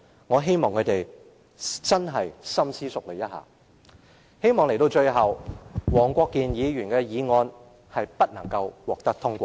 我希望他們深思熟慮。我希望最終黃國健議員的議案不獲通過。